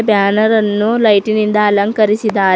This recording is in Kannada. ಬ್ಯಾನರ್ ಅನ್ನು ಲೈಟಿ ನಿಂದ ಅಂಕರಿಸಿದ್ದಾರೆ.